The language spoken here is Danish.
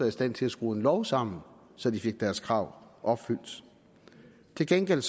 i stand til skrue en lov sammen så de fik deres krav opfyldt til gengæld